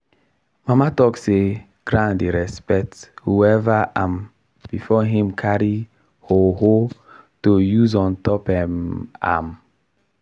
mama talk say ground dey respect whoever am before him carry hoe hoe to use ontop um am.